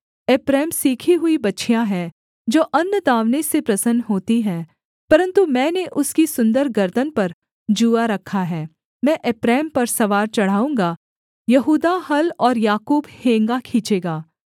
एप्रैम सीखी हुई बछिया है जो अन्न दाँवने से प्रसन्न होती है परन्तु मैंने उसकी सुन्दर गर्दन पर जूआ रखा है मैं एप्रैम पर सवार चढ़ाऊँगा यहूदा हल और याकूब हेंगा खींचेगा